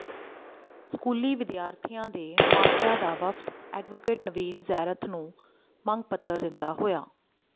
ਸਕੂਲੀ ਵਿਦਿਆਰਥੀਆਂ ਦੇ ਮਾਪਿਆਂ ਦਾ ਵਫਦ ਐਡਵੋਕੇਟ ਨਵੀਨ ਜੈਰਥ ਨੂੰ ਮੰਗ ਪੱਤਰ ਦਿੰਦਾ ਹੋਇਆ